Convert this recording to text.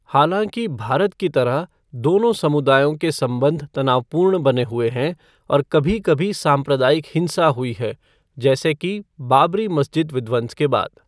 हालाँकि, भारत की तरह, दोनों समुदायों के संबंध तनावपूर्ण बने हुए हैं और कभी कभी सांप्रदायिक हिंसा हुई है, जैसे कि बाबरी मस्जिद विध्वंस के बाद।